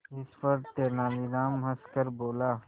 इस पर तेनालीराम हंसकर बोला